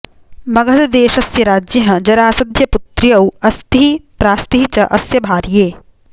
मगधदेशस्य राज्ञः जरासध्य पुत्र्यौ अस्तिः प्रास्तिः च अस्य भार्ये